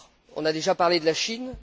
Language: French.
On a déjà parlé de la Chine.